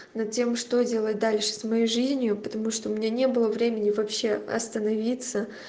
на тему что делать дальше с моей жизнью потому что у меня не было времени вообще остановиться